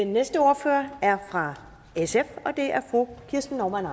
den næste ordfører er fra sf og det er fru kirsten normann